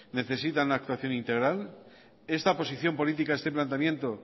necesita una actuación integral esta posición política este planteamiento